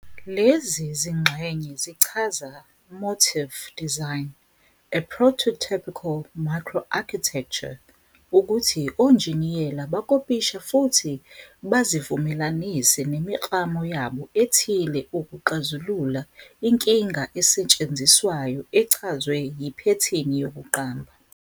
Lezi zingxenye zichaza "motif design" - a prototypical "micro-architecture" ukuthi onjiniyela bakopisha futhi bazivumelanise nemiklamo yabo ethile ukuxazulula inkinga esetshenziswayo echazwe yiphethini yokuqamba.